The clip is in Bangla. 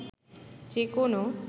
যে কোনো